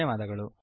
ಧನ್ಯವಾದಗಳು